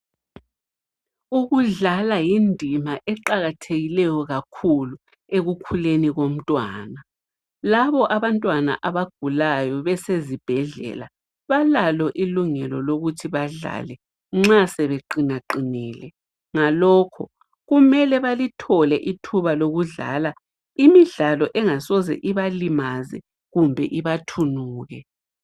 Ukudlala yindima eqakathekileyo kakhulu ekukhuleni komntwana labo abantwana abagulayo besezibhedlela balalo ilungelo lokuthi badlale nxa sebeqinaqinile, ngalokho kumele balithole ithuba lokudlala imidlalo engasoze ibalimaze kumbe ibathunuke.